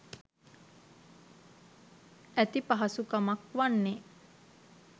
ඇති පහසුකමක් වන්නේ